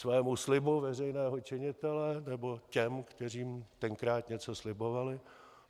Svému slibu veřejného činitele, nebo těm, kterým tenkrát něco slibovali?